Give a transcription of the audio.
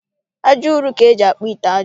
Aja ụrọ ka eji akpụ ite aja